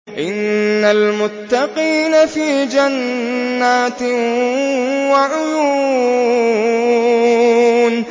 إِنَّ الْمُتَّقِينَ فِي جَنَّاتٍ وَعُيُونٍ